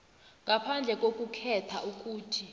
ngaphandle kokukhetha ukuthi